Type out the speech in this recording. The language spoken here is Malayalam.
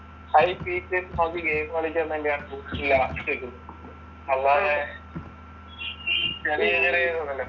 ഹൈ ഗെയിം കളിക്കുന്ന ഇട്ടേക്കുന്നത്. അല്ലാതെ ചെറിയ, ചെറിയ